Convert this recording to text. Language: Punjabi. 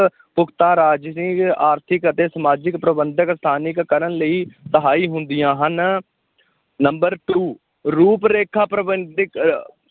ਪੁਖ਼ਤਾ ਰਾਜਸੀ, ਆਰਥਿਕ ਅਤੇ ਸਮਾਜਿਕ ਪ੍ਰਬੰਧਕ ਸਥਾਨਿਕ ਕਰਨ ਲਈ ਸਹਾਈ ਹੁੰਦੀਆਂ ਹਨ number two ਰੂਪ ਰੇਖਾ ਪ੍ਰਬੰਧਕ ਅਹ